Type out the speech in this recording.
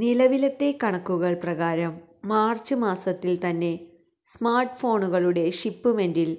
നിലവിലത്തെ കണക്കുകൾ പ്രകാരം മാർച്ച് മാസ്സത്തിൽ തന്നെ സ്മാർട്ട് ഫോണുകളുടെ ഷിപ്പ്മെന്റിൽ